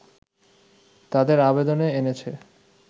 তাদের আবেদনে এনেছে